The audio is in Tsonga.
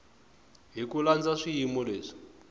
hi ku landza swiyimo leswi